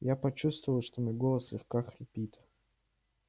я почувствовал что мой голос слегка хрипит